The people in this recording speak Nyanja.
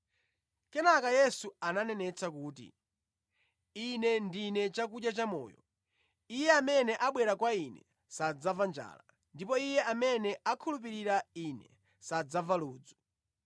Kenaka Yesu ananenetsa kuti, “Ine ndine chakudya chamoyo. Iye amene abwera kwa Ine sadzamva njala, ndipo iye amene akhulupirira Ine sadzamva ludzu.